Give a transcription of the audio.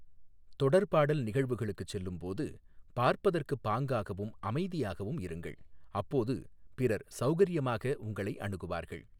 தொடர்பாடல் நிகழ்வுகளுக்குச் செல்லும்போது பார்ப்பதற்குப் பாங்காகவும் அமைதியாகவும் இருங்கள், அப்போது பிறர் சௌகரியமாக உங்களை அணுகுவார்கள்.